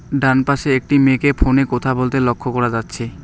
ডানপাশে একটি মেয়েকে ফোনে কোথা বলতে লক্ষ্য করা যাচ্ছে।